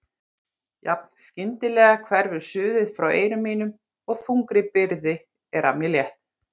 Jafn skyndilega hverfur suðið frá eyrum mínum og þungri byrði er af mér létt.